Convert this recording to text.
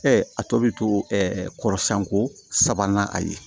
a tɔ bi to kɔrɔsiyɛn ko sabanan a ye